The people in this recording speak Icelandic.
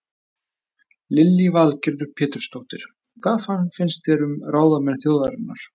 Lillý Valgerður Pétursdóttir: Hvað finnst þér um ráðamenn þjóðarinnar?